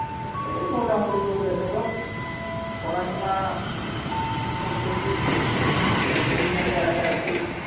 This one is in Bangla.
এই মোটামুটি চলতেসে গো, পড়াশোনা করতেসি, পড়াশোনা নে পেরাতে আসি।